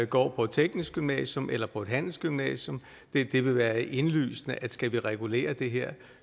går på et teknisk gymnasium eller på et handelsgymnasium det vil være indlysende at skal vi regulere det her